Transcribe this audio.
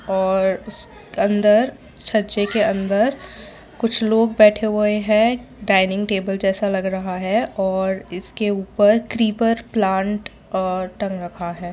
और अंदर छज्जे के अंदर कुछ लोग बैठे हुए हैं डाइनिंग टेबल जैसा लग रहा है और इसके ऊपर क्रीपर प्लांट और टंग रखा है।